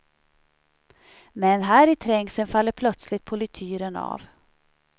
Men här i trängseln faller plötsligt polityren av.